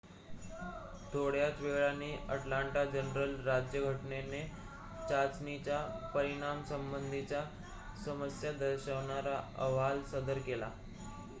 थोड्याच वेळाने अटलांटा जर्नल-राज्यघटनेने चाचणीच्या परिणामासंबंधीच्या समस्या दर्शवणारा अहवाल सदर केला